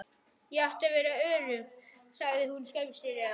Ég átti að vera örugg, sagði hún skömmustulega.